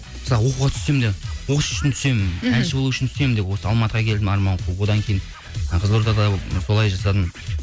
мысалға оқуға түссем де осы үшін түсемін мхм әнші болу үшін түсемін деп осы алматыға келдім арман қуып одан кейін ы қызылордада ы солай жасадым